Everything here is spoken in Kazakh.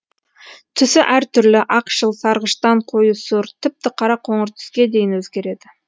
түсі әр түрлі ақшыл сарғыштан қою сұр тіпті қара қоңыр түске дейін өзгереді